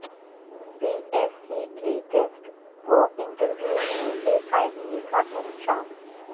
پی S C کے test و interview میں بے قاعدگی کا انکشاف